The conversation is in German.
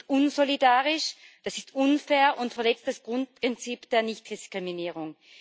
Das ist unsolidarisch, das ist unfair und verletzt das Grundprinzip der Nichtdiskriminierung.